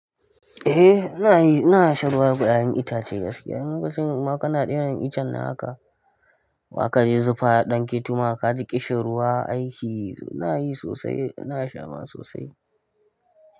Eh ina yin, ina shan ruwan guda'yan itacen gaske. In lokacin ma kana iya iccen haka, baka je zufa ya dan ke toma ka ji ƙishirwa aiki. Ina yi sosai, ina sha ma sosai.